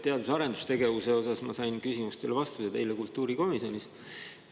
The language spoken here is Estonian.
Teadus- ja arendustegevuse kohta ma sain küsimustele vastused eile kultuurikomisjonis.